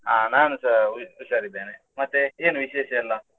ಅಹ್ ನಾನುಸ ಹುಷಾರ್ ಇದ್ದೇನೆ, ಮತ್ತೆ ಏನು ವಿಶೇಷ ಎಲ್ಲಾ?